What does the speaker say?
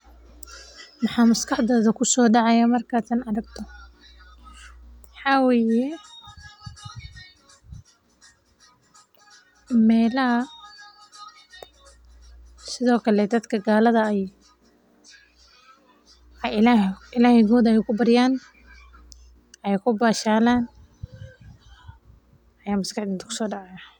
Maxa maskaxdada kusoo dacaaya markaad tan aragto waxaa waye meelaha sido kale dadka gaalada aay ilaahoda ku varuaan aay ku bashalan.